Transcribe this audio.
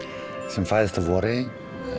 sem fæðist að vori en